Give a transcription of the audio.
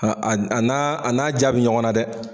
A a a n'a a n'a diya bɛ ɲɔgɔn na dɛ.